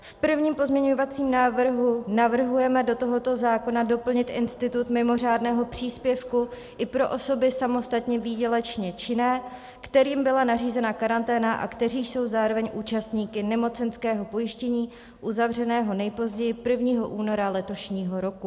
V prvním pozměňovacím návrhu navrhujeme do tohoto zákona doplnit institut mimořádného příspěvku i pro osoby samostatně výdělečně činné, kterým byla nařízena karanténa a které jsou zároveň účastníky nemocenského pojištění, uzavřeného nejpozději 1. února letošního roku.